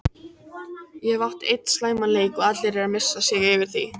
Ég hef átt einn slæman leik og allir eru að missa sig yfir því.